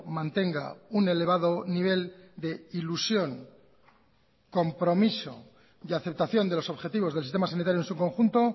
mantenga un elevado nivel de ilusión compromiso y aceptación de los objetivos del sistema sanitario en su conjunto